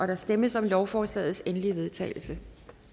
der stemmes om lovforslagets endelige vedtagelse